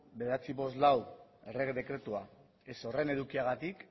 bederatziehun eta berrogeita hamalau errege dekretua ez horren edukiagatik